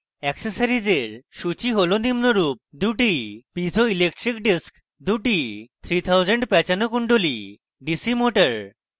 এক্সেসরিজের সূচী হল নিম্নরূপ